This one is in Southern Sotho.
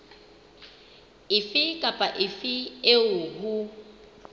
efe kapa efe eo ho